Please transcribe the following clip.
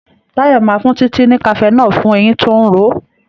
Tayo má fún Titi ní cafenol fún ẹyìn tó ń ró.